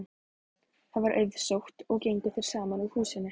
Það var auðsótt og gengu þeir saman úr húsinu.